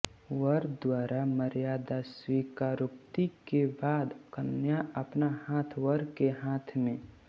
वर द्वारा मर्यादा स्वीकारोक्ति के बाद कन्या अपना हाथ वर के हाथ में